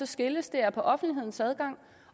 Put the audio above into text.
skilles er offentlighedens adgang